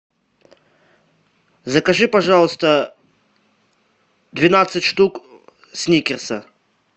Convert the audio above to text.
закажи пожалуйста двенадцать штук сникерсов